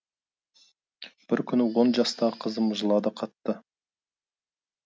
бір күні он жастағы қызым жылады қатты